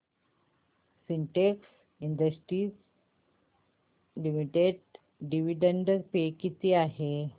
Sintex industries limited dividend pay किती आहे